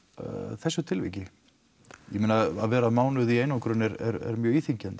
þessu tilviki ég meina að vera mánuð í einangrun er mjög íþyngjandi